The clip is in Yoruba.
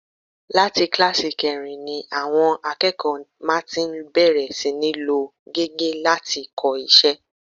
Láti kíláàsì kẹrin ni àwọn akẹ́kọ̀ọ́ má ti ń bẹ̀rẹ̀ sí ní lo gègé láti kọ iṣẹ́